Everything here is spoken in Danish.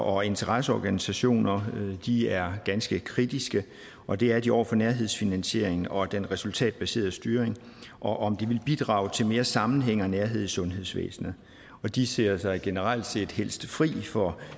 og interesseorganisationer de er ganske kritiske og det er de over for nærhedsfinansieringen og den resultatbaserede styring og om det vil bidrage til mere sammenhæng og nærhed i sundhedsvæsenet de ser sig generelt set helst fri for